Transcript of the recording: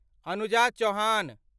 Anuja Chauhan